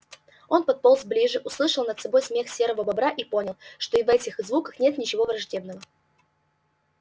он подполз поближе услышал над собой смех серого бобра и понял что и в этих звуках нет ничего враждебного